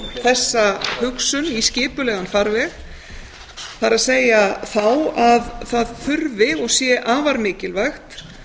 þessa hugsun í skipulegan farveg það er þá að það þurfi og sé afar mikilvægt